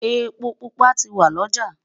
èpo púpà tí wọn loja